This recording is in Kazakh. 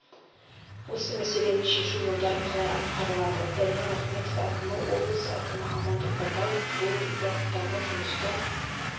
осы мәселені шешу жолдары қалай атқарылады даниал ахметов әкімі облыс әкімі амандық баталов бұл бағыттағы жұмыстар